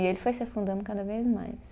E ele foi se afundando cada vez mais.